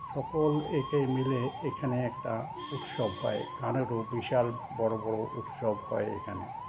সকল একে মিলে এখানে একটা উৎসব হয় গানের ও বিশাল বড় বড় উৎসব হয় এখানে